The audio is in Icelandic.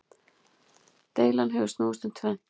Deilan hefur snúist um tvennt.